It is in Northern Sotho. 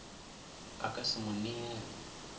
a ka se mo neele